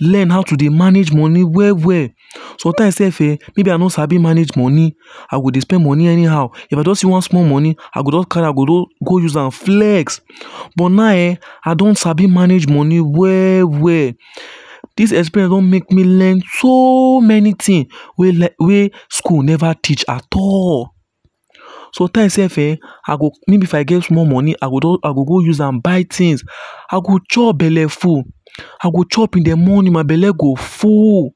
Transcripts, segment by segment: learn how to dey manage money well well sometimes sef eh. maybe I no Sabi manage money I go dey spend money anyhow if I don see one small money, I go just carry am go use am flex but now eh I don Sabi manage money well well dis experience don make me learn so many things wey wey school never teach at all sometimes sef ehh. I go maybe if I get small money I go I go go use am buy things I go chop belle full I go- chop in the morning my belle go full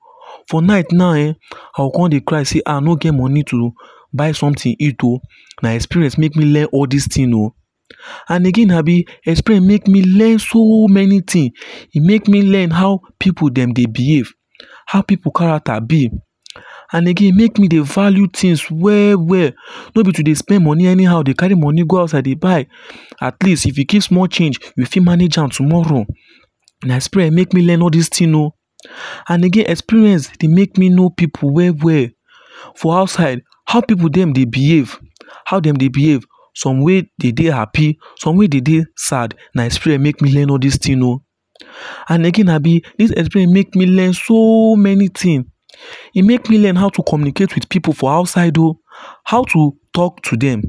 for night now eh, I go come dey cry say ah, I no get money to buy something eat oh. Na experience make me learn all this thing oh. And again abi experience make me learn so many things e make me learn how pipu dem dey behave how pipu character be and again e make me dey value things well well no be to dey spend money anyhow dey carry money go outside dey buy at least if you keep small change you fit manage am tomorrow na experience make me learn all this things oh. And again, experience dey make me know pipu well well for outside how pipu dem dey behave how dem dey behave some wey dey dey happy some wey dey dey sad na experience make me learn all this thing o and again abi this experience make me learn so many things e make me learn how to communicate with pipu for outside oo how to talk to them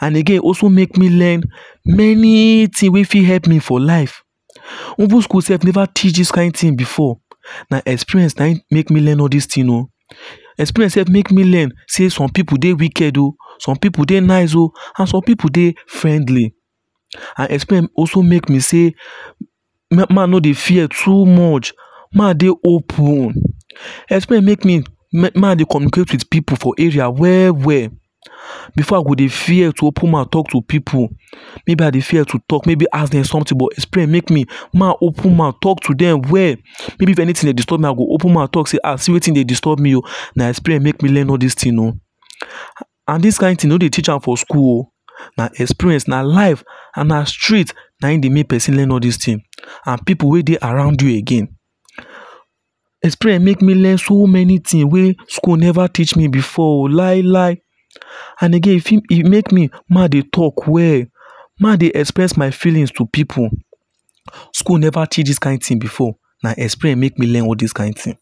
and again also make me learn many things wey fit help me for life even school sef never teach this kind thing before na experience Na im make me learn all this thing oo experience sef make me learn say some pipu dey wicked oo some pipu dey nice oo and some pipu dey friendly and experience also make me say make I no dey fear too much make I dey open experience make me make I dey communicate with pipu for area well well. Before I go dey fear to open mouth talk to pipu, maybe I dey fear to talk maybe ask dem something but experience make me make I open mouth talk to dem well. Maybe if anything dey disturb me, I go open mouth talk say ah see wetin dey disturb me na experience make me learn all this thing oo and this kind thing no dey teach am for school oo na experience na life and na street na im dey make person learn all this things and pipu wey dey around you again the experience make me learn so many thing wey school never teach me before lai lai. And again, e fit e make me make I dey talk well make i dey express my feelings to pipu. school never teach this kind thing before na experience make me learn all this kain thing.